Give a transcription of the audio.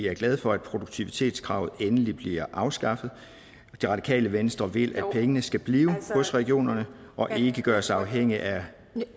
er glade for at produktivitetskravet endelig bliver afskaffet det radikale venstre vil at pengene skal blive hos regionerne og ikke gøres afhængige af